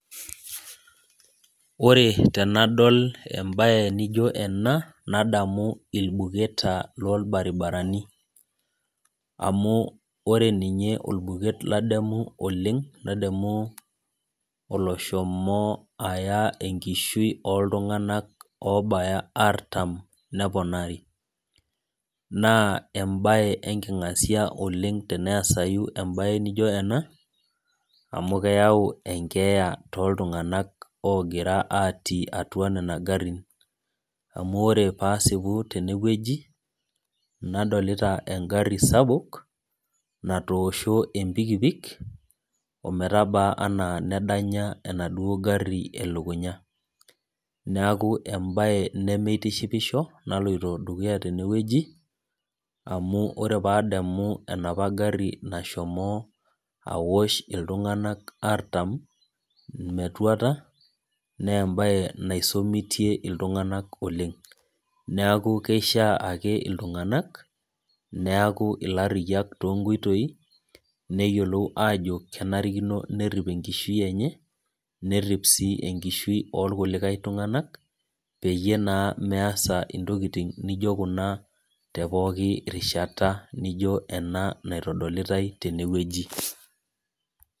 Ore tenadol mbae naijio ena nadamu irbuketaa loo irbaribarani amu ore ninye orbuket ladamu oleng nadamu oloshomo Aya enkishui oltung'ana artam neponari naa mbae enkingasia oleng tenesai mbae naijio ena amu keyau enkeya too iltung'ana ogira atii atu Nena garin amu ore pasipu tene wueji adolita egari sapuk natosho empikipik ometaba ena nedanya enaduo gari elukunya neeku mbae nemitiahipisho naloito dukuya tenewueji amu ore pee adamu enapa gari nashomo aosho iltung'ana artam metuata naa mbae naisomitie iltung'ana oleng neeku keishaa iltung'ana neeku ilariyiak too nkoitoi neyiolou Ajo kenarikino nerip enkishui enye nerip sii enkishui orkulie tung'ana peyie naa measa ntokitin naijio Kuna tee pookin rishata naa ijio ena naitodolitae tene wueji